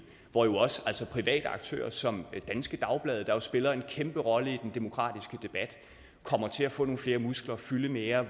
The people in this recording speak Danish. hvor jo altså også private aktører som danske dagblade der jo spiller en kæmpe rolle i den demokratiske debat kommer til at få nogle flere muskler og fylde mere